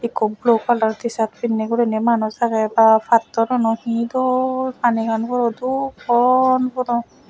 ikko blue kalar tisat pinney guriney manus agey ba pattor uno dol panigan puro dol pon puro.